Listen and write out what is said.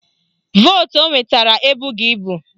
Vootu o nwetara ebughi ibu